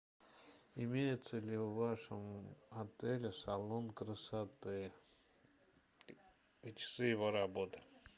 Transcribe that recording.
имеется ли в вашем отеле салон красоты и часы его работы